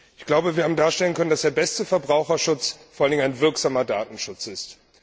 Ich glaube, dass wir darstellen konnten, dass der beste Verbraucherschutz vor allen Dingen ein wirksamer Datenschutz ist.